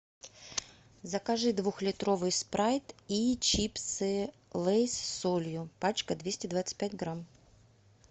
закажи двухлитровый спрайт и чипсы лейс с солью пачка двести двадцать пять грамм